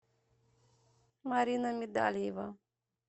марина медальева